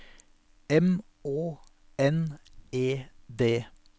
M Å N E D